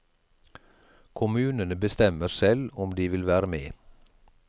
Kommunene bestemmer selv om de vil være med.